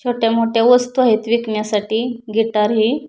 छोटे मोठया वस्तु आहेत विकण्यासाठी गिटार ही--